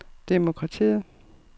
demokratiet